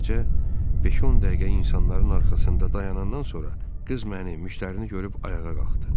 Beləcə, beş-on dəqiqə insanların arxasında dayanandan sonra qız məni, müştərini görüb ayağa qalxdı.